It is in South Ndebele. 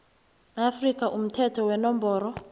afrika umthetho wenomboro